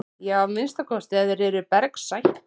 Já að minnsta kosti ef þeir eru af bergsætt.